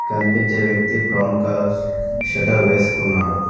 కనిపించే వ్యక్తి brown colours shutter వేసుకున్నాడు.